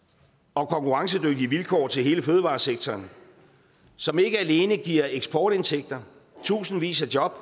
og konkurrencedygtige vilkår til hele fødevaresektoren som ikke alene giver eksportindtægter og tusindvis af job